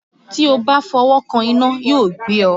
Tí ó bá fọwọ́ kan iná yóò gbé ọ.